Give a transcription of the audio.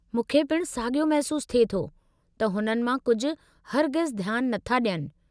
मूंखे पिणु साॻियो महिसूस थिए थो त हुननि मां कुझु हरगिज़ ध्यानु नथा ॾियनि।